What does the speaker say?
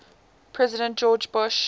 president george bush